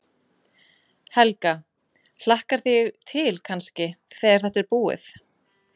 Helga: Hlakkar þig til kannski, þegar þetta er búið?